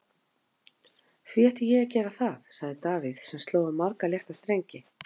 Því ætti ég að gera það? sagði Davíð sem sló á marga létta strengi.